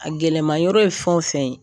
A gɛlɛma yɔrɔ ye fɛn o fɛn ye.